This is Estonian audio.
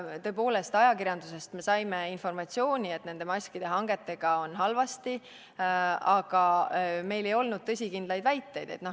Tõepoolest, ajakirjandusest me saime informatsiooni, et maskide hangetega on halvasti, aga meil ei olnud tõsikindlaid väiteid.